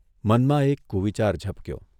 મનમાં એક કુવિચાર ઝબક્યો.